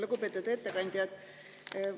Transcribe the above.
Lugupeetud ettekandja!